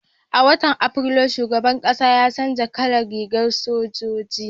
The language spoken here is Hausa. a watan afrilu shugaban ƙasa ya canja kalan rigar sojoji